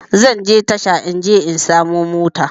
Zanje tasha in je in samo mota